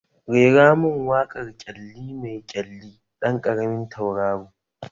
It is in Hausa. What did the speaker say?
Rera mun waƙar ƙyalli mai ƙyalli ɗan ƙaramin tauraro!